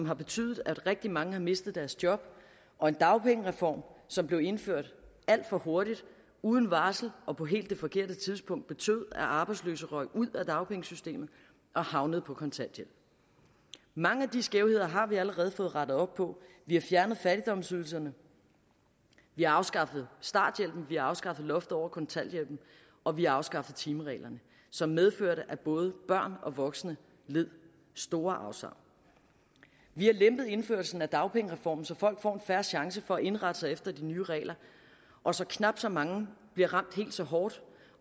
har betydet at rigtig mange har mistet deres job og en dagpengereform som blev indført alt for hurtigt uden varsel og på det helt forkerte tidspunkt betød at arbejdsløse røg ud af dagpengesystemet og havnede på kontanthjælp mange af de skævheder har vi allerede fået rettet op på vi har fjernet fattigdomsydelserne vi har afskaffet starthjælpen vi har afskaffet loftet over kontanthjælpen og vi har afskaffet timereglerne som medførte at både børn og voksne led store afsavn vi har lempet indførelsen af dagpengereformen så folk får en fair chance for at indrette sig efter de nye regler og så knap så mange bliver ramt helt så hårdt